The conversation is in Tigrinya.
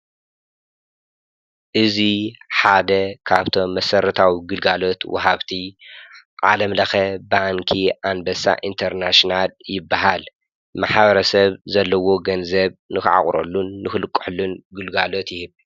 እዙ ሓደ ካብቶም መሠረታዊ ግልጋሎት ወሃብቲ ዓለምለኸ ባንኪ ኣንበሳዕ እንተርናስናል ይብሃል መሓብረ ሰብ ዘለዎ ገንዘብ ንኽዓቑረሉን ንኽልቅሕሉን ግልጋሎት ይህብ።